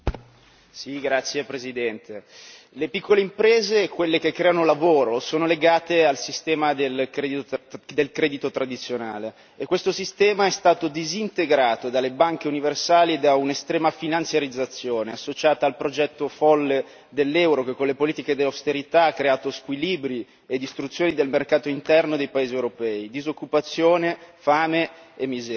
Signor Presidente, onorevoli colleghi, le piccole imprese, quelle che creano lavoro, sono legate al sistema del credito tradizionale e questo sistema è stato disintegrato dalle banche universali da un'estrema finanziarizzazione associata al progetto folle dell'euro che, con le politiche del austerità, ha creato squilibri e distruzioni del mercato interno dei paesi europei, disoccupazione, fame e miseria.